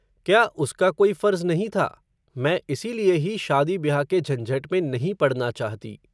क्या उसका कोई फ़र्ज़ नहीं था, मैं इसीलिए ही शादी ब्याह के झंझट में नहीं पड़ना चाहती